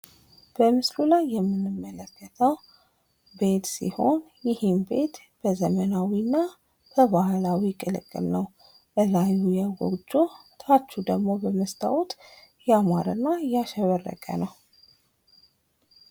በምስሉ ላይ የምንመለከተው ቤት ሲሆን ፤ ይህም በባህላዊ እና በዘመናዊ ተቀላቅሎ የተሰራ ሲሆን፤ ከላይ በጎጆ ከታች ደሞ በመስታዎት ያሸበረቀ ነዉ ማለት ነው።